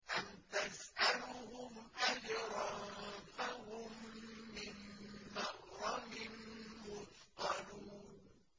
أَمْ تَسْأَلُهُمْ أَجْرًا فَهُم مِّن مَّغْرَمٍ مُّثْقَلُونَ